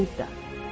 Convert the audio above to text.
Budda.